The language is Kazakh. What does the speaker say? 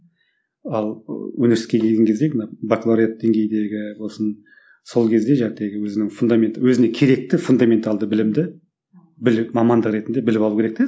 ал ы университетке келген кезде мына бакалавриат деңгейдегі болсын сол кезде өзінің фундаменті өзіне керекті фундаменталды білімді мамандық ретінде біліп алу керек те